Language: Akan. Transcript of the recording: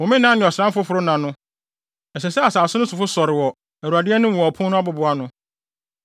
Homenna ne ɔsram foforo nna no, ɛsɛ sɛ asase no sofo sɔre wɔ Awurade anim wɔ ɔpon no abobow ano.